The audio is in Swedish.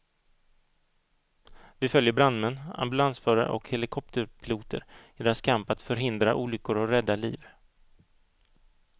Vi följer brandmän, ambulansförare och helikopterpiloter i deras kamp att förhindra olyckor och rädda liv.